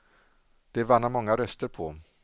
Det vann han många röster på.